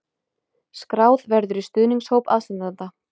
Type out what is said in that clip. Skráð verður í stuðningshóp aðstandenda